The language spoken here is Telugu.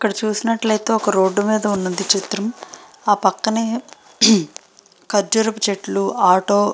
ఇక్కడ చూసినట్టు అయితే ఒక రోడ్ మేధా వున్నది చిత్రం ఆ పక్కనే కాజుర చెట్లు ఆటో --